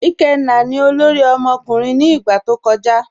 Ikenna ni ọlọ́rì ọmọkùnrin ni igba tó kọja.